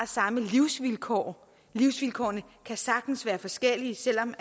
samme livsvilkår livsvilkårene kan sagtens være forskellige selv om